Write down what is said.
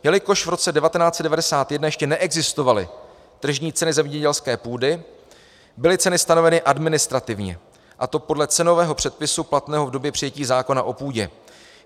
Jelikož v roce 1991 ještě neexistovaly tržní ceny zemědělské půdy, byly ceny stanoveny administrativně, a to podle cenového předpisu platného v době přijetí zákona o půdě.